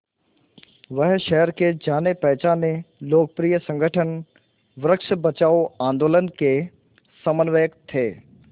वह शहर के जानेपहचाने लोकप्रिय संगठन वृक्ष बचाओ आंदोलन के समन्वयक थे